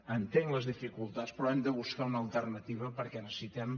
entenc les dificultats però hem de buscar una alternativa perquè necessitem